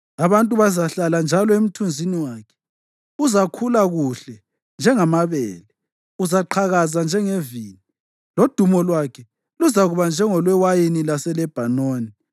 Abantu bazahlala njalo emthunzini wakhe. Uzakhula kuhle njengamabele. Uzaqhakaza njengevini, lodumo lwakhe luzakuba njengolwewayini laseLebhanoni.